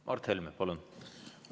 Mart Helme, palun!